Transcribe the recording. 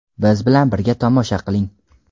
Biz bilan birga tomosha qiling.